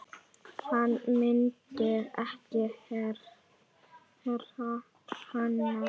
Hann myndi ekki heyra hana.